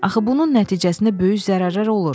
Axı bunun nəticəsində böyük zərərlər olur.